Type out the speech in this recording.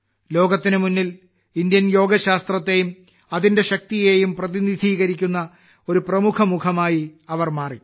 ലോകത്തിനു മുന്നിൽ ഇന്ത്യൻ യോഗ ശാസ്ത്രത്തെയും അതിന്റെ ശക്തിയെയും പ്രതിനിധീകരിക്കുന്ന ഒരു പ്രമുഖ മുഖമായി അവർ മാറി